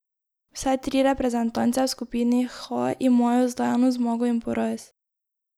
Vse tri reprezentance v skupini H imajo zdaj eno zmago in poraz.